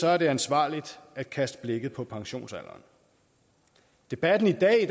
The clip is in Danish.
er det ansvarligt at kaste blikket på pensionsalderen debatten i dag